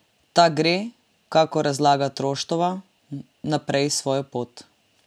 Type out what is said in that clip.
Ta gre, kakor razlaga Troštova, naprej svojo pot.